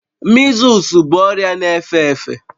Mịzụs bụ ọrịa na-efe efe